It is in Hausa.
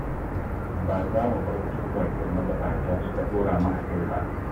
Ba za mu bar turbar da magabata suka dora mu a kai ba